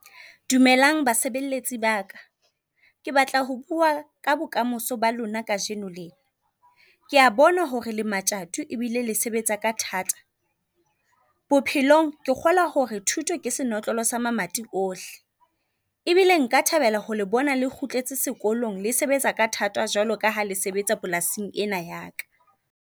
Dumelang basebeletsi ba ka. Ke batla ho bua ka bokamoso ba lona kajeno lena. Kea bona hore le matjato e bile le sebetsa ka thata. Bophelong ke kgolwa hore thuto ke senotlolo sa mamati ohle. E bile nka thabela ho le bona le kgutletse sekolong le sebetsa ka thata jwalo ka ha le sebetsa polasing ena ya ka.